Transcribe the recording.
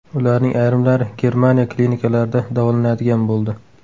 Ularning ayrimlari Germaniya klinikalarida davolanadigan bo‘ldi.